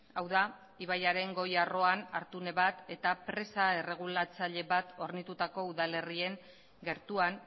hau da ibaiaren goi arroan hartune bat eta presa erregulatzaile bat hornitutako udalerrien gertuan